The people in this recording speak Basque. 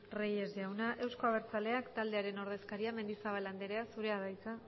reyes jauna euzko abertzaleak taldearen ordezkaria mendizabal andrea zurea da hitza